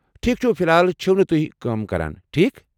ٹھیکھ چُھ ، فی الحال چھِو نہٕ تُہۍ کٲم کران، ٹھیک؟